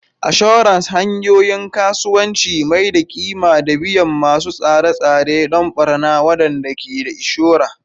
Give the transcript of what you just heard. Assurance: Hanyoyin Kasuwanci Maido da ƙima da biyan masu tsare-tsare don ɓarna waɗanda ke da inshora.